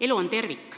Elu on tervik,